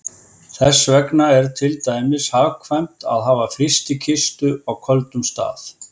Þess vegna er til dæmis hagkvæmt að hafa frystikistu á köldum stað.